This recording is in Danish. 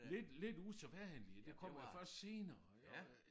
Lidt lidt usædvanligt det kommer først senere jo øh